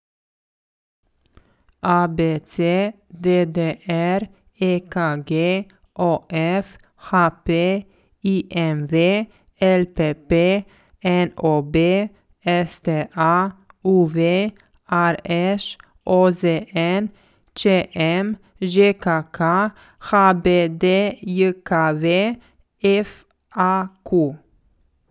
A B C; D D R; E K G; O F; H P; I M V; L P P; N O B; S T A; U V; R Š; O Z N; Č M; Ž K K; H B D J K V; F A Q.